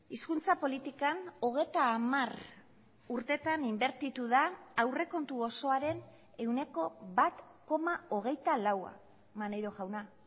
hizkuntza politikan hogeita hamar urtetan inbertitu da aurrekontu osoaren ehuneko bat koma hogeita laua maneiro jauna